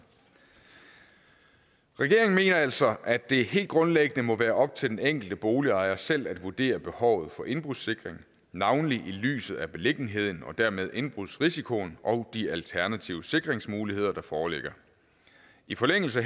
regeringen mener altså at det helt grundlæggende må være op til den enkelte boligejer selv at vurdere behovet for indbrudssikring navnlig i lyset af beliggenheden og dermed indbrudsrisikoen og de alternative sikringsmuligheder der foreligger i forlængelser